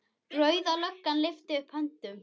Rauða löggan lyftir upp hönd.